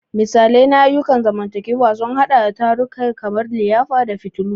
Misalai na ayyukan zamantakewa sun haɗa da tarukan kamar liyafa da fitillu.